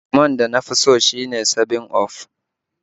Lemon da nafi so shine 7up